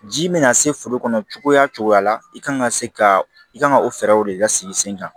Ji mana se foro kɔnɔ cogoya cogoya la i kan ka se ka i kan ka o fɛɛrɛw de lasigi sen kan